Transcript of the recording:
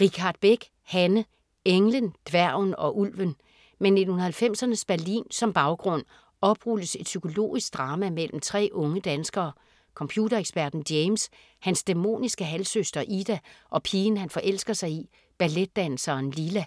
Richardt Beck, Hanne: Englen, dværgen og ulven Med 1990'ernes Berlin som baggrund oprulles et psykologisk drama mellem tre unge danskere: computereksperten James, hans dæmoniske halvsøster Ida og pigen han forelsker sig i, balletdanseren Lila.